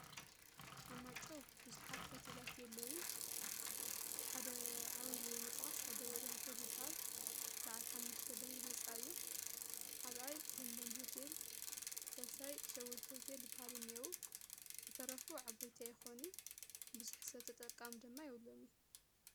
አብ ማይ ጨው ቡዝሓት ሆቴላት የለውን እቲ ሓደ ዓቡይ ተባሂሉ ዝጥቀስ ታደለ ሆቴል ይበሃል በዓል ሓሙሽተ ደብሪ ህንፃ እዩ ካልኣይ ለምለም ሆቴል ሳልሳይ ሸዊት ሆቴል ዝበሃሉ እኒሂዉ ዝተረፉ ዓበይቲ አይኮኑን ቡዙሕ ሰብ ተጠቃሚ ድማ የብልምን::